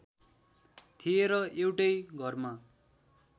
थिए र एउटै घरमा